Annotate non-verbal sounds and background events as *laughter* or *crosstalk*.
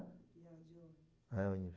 *unintelligible* É, ônibus.